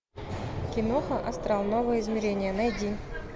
киноха астрал новое измерение найди